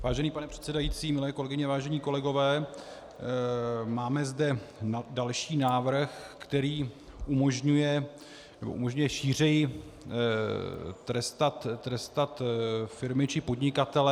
Vážený pane předsedající, milé kolegyně, vážení kolegové, máme zde další návrh, který umožňuje šířeji trestat firmy či podnikatele.